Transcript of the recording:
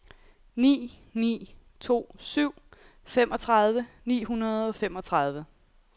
ni ni to syv femogtredive ni hundrede og femogtredive